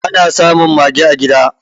Ana samun mage a gida